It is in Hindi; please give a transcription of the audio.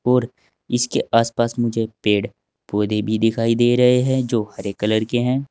और इसके आस पास मुझे पेड़ पौधे भी दिखाई दे रहे हैं जो हरे कलर के हैं।